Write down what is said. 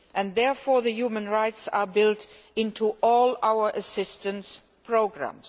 Therefore, human rights are built into all our assistance programmes.